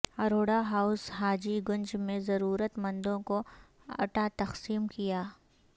Arora house Haji Ganj میں ضرورت مندوں کو اٹا تقسیم کیا